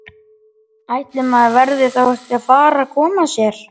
Ætli maður verði þá ekki að fara að koma sér!